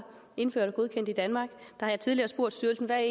indført og godkendt i danmark har jeg tidligere spurgt styrelsen hvad